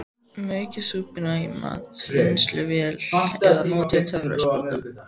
Maukið súpuna í matvinnsluvél eða notið töfrasprota.